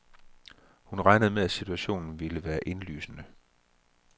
Hun regnede med at situationen ville være indlysende.